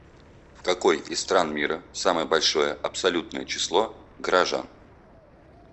в какой из стран мира самое большое абсолютное число горожан